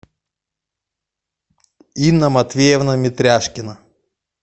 инна матвеевна метряшкина